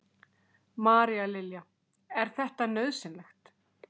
María Lilja: Er þetta nauðsynlegt?